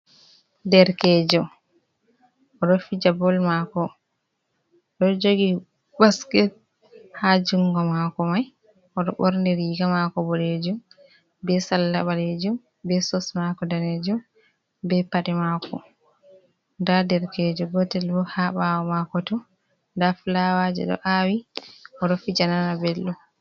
Derkejo oɗo fija bol mako oɗo jogi basket ha jungo mako mai oɗo ɓorni riga mako boɗejum be salla ɓalejum be sos mako danejum, be pade mako. Nda derkejo gotel bo ha ɓawo mako to nda fulawaje ɗo awi oɗo fija nana belɗum.